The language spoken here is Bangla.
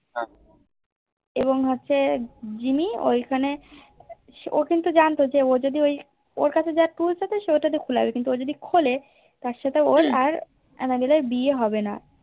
এবং হচ্ছে জিম্মি ঐখানে ও কিন্তু জানতো যে ও যদি ওই ওর কাছ যা Tools আছে সে ওটা দিয়ে খুলে আসবে কিন্তু ও যদি খোলে তার সাথে ওর আর আন্নাবেলের বিয়ে হবেনা